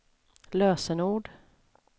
lösenord